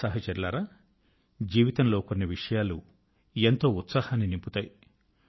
సహచరులారా జీవితం లో కొన్ని విషయాలు ఎంతో ఉత్సాహాన్ని నింపుతాయి